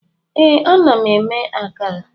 Ee, ana m eme akara